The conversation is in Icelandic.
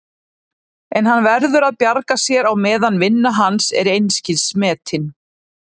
En hann verður að bjarga sér á meðan vinna hans er einskis metin.